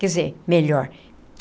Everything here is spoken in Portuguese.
Quer dizer, melhor.